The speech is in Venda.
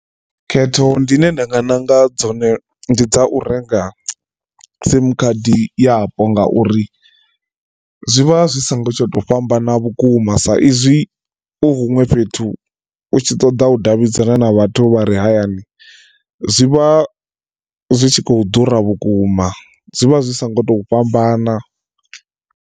Khetho ndine nda nga ṋanga dzone ndi dza u renga sim khadi yapo ngauri zwivha zwi songo tsha to fhambana vhukuma sa izwi u huṅwe fhethu u tshi ṱoḓa u davhidzana na vhathu vha re hayani zwi vha zwi tshi khou ḓura vhukuma zwi vha zwi so ngo to fhambana.